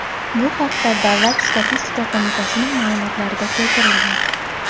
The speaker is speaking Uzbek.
Bu haqda Davlat statistika qo‘mitasining ma’lumotlarida keltirilgan .